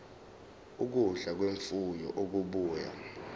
ukudla kwemfuyo okubuya